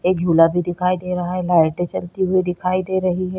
एक झूला भी दिखाई दे रहा हैं लाइटे जलती दिखाई दे रही हैं।